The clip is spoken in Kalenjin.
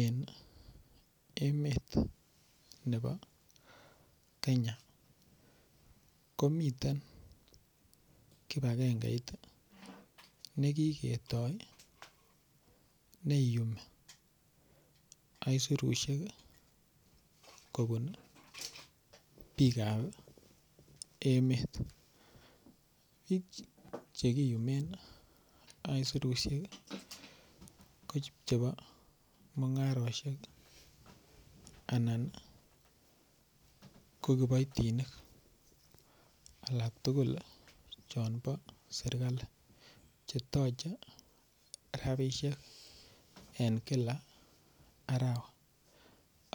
Eng emet nebo Kenya ko miten kibakengeit nekiketoi neiyumi aisurushek kobun biik ap emet chekiyumen oisurushek ko chepo mungaroshek anan ko kiboitinik alak tukul chebo serikali chetoche ropishek eng kila arawa